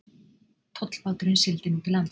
Tollbáturinn sigldi nú til lands.